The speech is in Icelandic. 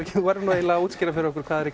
að útskýra fyrir okkur hvað er